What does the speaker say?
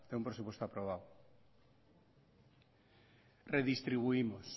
un presupuesto aprobado redistribuimos